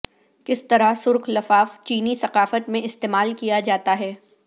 کس طرح سرخ لفاف چینی ثقافت میں استعمال کیا جاتا ہے